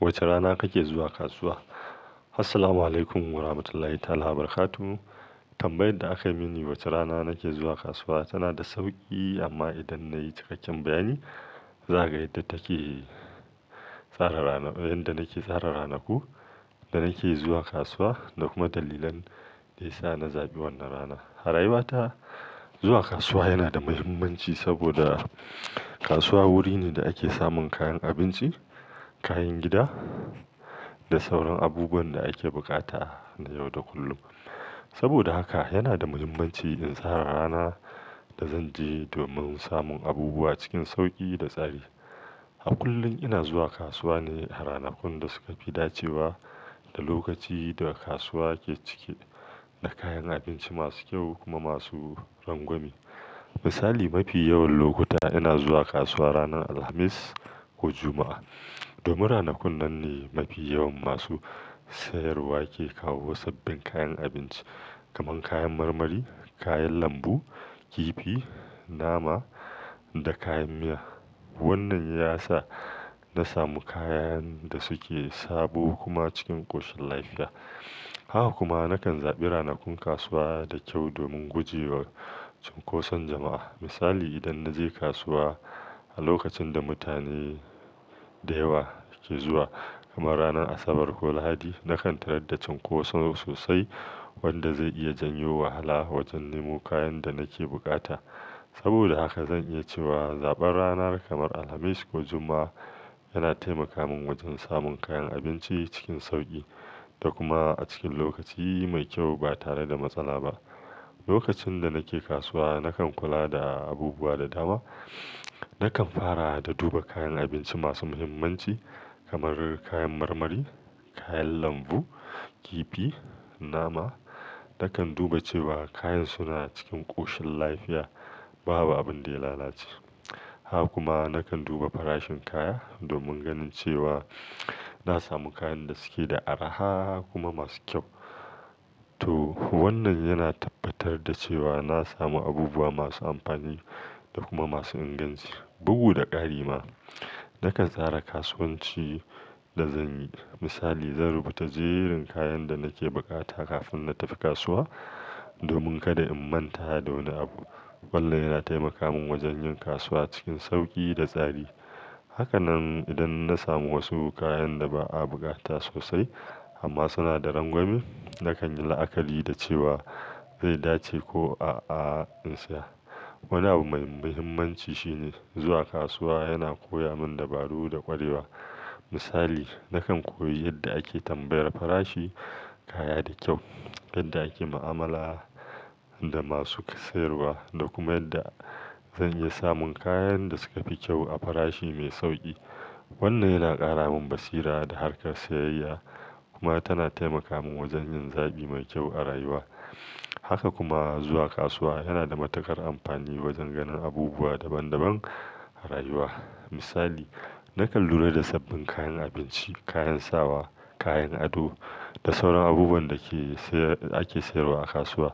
Wace rana kake zuwa kasuwa? Assalamualaikum warahmatullahi ta'ala barakatuhu. Tambayar da aka yi mini, wace rana nake zuwa kasuwa tana da sauƙi amma idan na yi cikakken bayani, za a ga yadda take tsara rana, inda nake tsara ranaku da nake zuwa kasuwa da kuma dalilan da ya sa na zaɓi wannan ranar. A rayuwata, zuwa kasuwa yana da muhimmanci saboda kasuwa guri ne da ake samun kayan abinci, kayan gida da sauran abubuwan da ake bukata na yau da kullum. Saboda haka yana da muhimmanci in tsara rana da zan je domin samun abubuwa cikin sauƙi da tsari. A kullum ina zuwa kasuwa ne a ranakun da suka fi dacewa da lokaci da kasuwa ke cike da kayan abinci masu kyau kuma masu rangwame. Misali, mafi yawan lokuta ina zuwa kasuwa ranar Alhamis ko Juma'a. Domin ranakun nan ne mafi yawan masu sayarwa ke kawo sabbin kayan abinci kamar kayan marmari, kayan lambu, kifi, nama da kayan miya. Wannan ya sa na samu kayan da suke sabo kuma cikin ƙoshin lafiya. Haka kuma nakan zaɓi ranakun kasuwa da kyau domin guje wa cunkoson jama'a. Misali, idan na je kasuwa a lokacin da mutane da yawa ke zuwa kamar ranar Asabar ko Lahadi, nakan tarar da cunkoso sosai wanda zai iya janyo wahala wajen nemo kayan da nake bukata. Saboda haka zan iya cewa zaɓar ranar kamar Alhamis ko Juma'a yana taimaka min wajen samun kayan abinci cikin sauƙi da kuma a cikin lokaci mai kyau ba tare da matsala ba. Lokacin da nake kasuwa, nakan kula da abubuwa da dama. Nakan fara da duba kayan abinci masu muhimmanci kamar kayan marmari, kayan lambu, kifi, nama. Nakan duba cewa kayan suna cikin ƙoshin lafiya, babu abin da ya lalace. Haka kuma nakan duba farashin kaya domin ganin cewa na samu kayan da suke da araha kuma masu kyau. Toh wannan yana tabbatar da cewa na samu abubuwa masu amfani da kuma masu inganci, bugu da ƙari ma. Nakan tsara kasuwanci da zan yi. Misali, zan rubuta jerin kayan da nake bukata kafin na tafi kasuwa domin kada in manta da wani abu. Wannan yana taimaka min wajen yin kasuwa cikin sauƙi da tsari. Haka nan idan na samu wasu kayan da ba a bukata sosai amma suna da rangwame, nakan yi la'akari da cewa zai dace ko a'a in saya. Wani abu mai muhimmanci shine zuwa kasuwa yana koya min dabaru da ƙwarewa. Misali, nakan koyi yadda ake tambayar farashin kaya da kyau, yadda ake mu'amala da masu sayarwa da kuma yanda zan iya samun kayan da suka fi kyau a farashi mai sauƙi. Wannan yana ƙara min basira da harkar sayayya kuma tana taimaka min wajen yin zaɓi mai kyau a rayuwa. Haka kuma zuwa kasuwa yana da matuƙar amfani wajen ganin abubuwa daban daban a rayuwa. Misali, nakan lura da sabbin kayan abinci, kayan sawa, kayan ado da sauran abubuwan da ke sayar, ake sayarwa a kasuwa.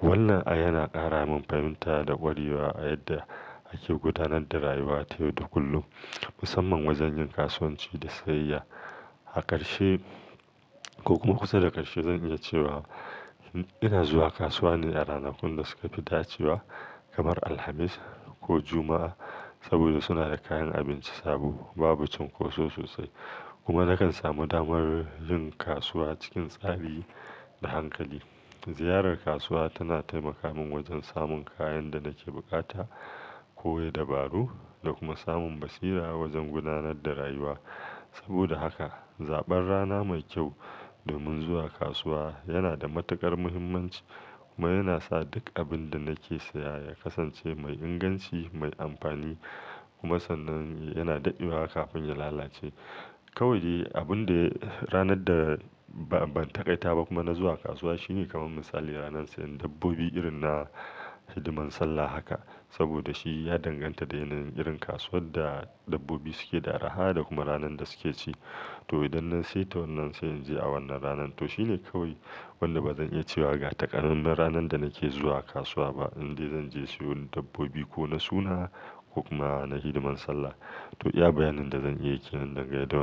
Wannan ai yana ƙara min fahimta da ƙwarewa a yadda ake gudanar da rayuwa ta yau da kullum, musamman wajen yin kasuwanci da sayayya. A ƙarshe ko kuma kusa da ƙarshe zan iya cewa ina zuwa kasuwa ne a ranakun da suka fi dacewa kamar Alhamis ko Juma'a saboda suna da kayan abinci sabo, babu cunkoso sosai kuma nakan samu damar yin kasuwa cikin tsari da hankali. Ziyarar kasuwa tana taimaka min wajen samun kayan da nake bukata, koya dabaru da kuma samun basira wajen gudanar da rayuwa. Saboda haka zaɓar rana mai kyau domin zuwa kasuwa yana da matuƙar muhimmanci kuma yana sa duk abin da nake saya ya kasance mai inganci, mai amfani kuma sannan yana daɗewa kafin ya lalace. Kawai dai abun da ranar da ba, ban taƙaita ba kuma na zuwa kasuwa shine kamar misali ranar sayan dabbobi irin na hidiman Sallah haka saboda shi ya danganta da yanayin irin kasuwar da dabbobi suke da araha da kuma ranar da suke ci. To idan na saita wannan sai in je a wannan ranan. To shine kawai wanda ba zan iya cewa ga taƙamaiman ranar da nake zuwa kasuwa ba indai zan je siyo dabbobi ko na suna ko kuma na hidiman Sallah. To iya bayanin da zan iya yi kenan daga yau da.